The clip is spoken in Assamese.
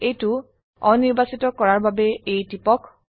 এইটো অনিৰ্বাচিত কৰাৰ বাবে A টিপক